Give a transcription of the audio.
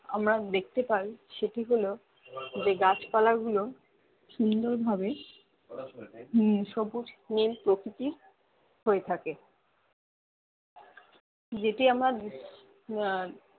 আমরা দেখতে পাই সেটি হলো যে গাছ পালা গুলো সুন্দর ভাবে হম সবুজ নীল প্রকৃতির হয়ে থাকে যেটি আমার উম আহ